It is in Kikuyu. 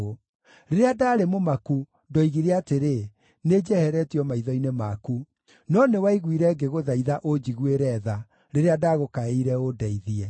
Rĩrĩa ndaarĩ mũmaku, ndoigire atĩrĩ, “Nĩnjeheretio maitho-inĩ maku!” No nĩwaiguire ngĩgũthaitha ũnjiguĩre tha, rĩrĩa ndagũkaĩire ũndeithie.